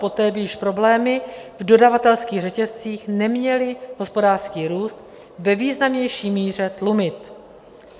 Poté by již problémy v dodavatelských řetězcích neměly hospodářský růst ve významnější míře tlumit.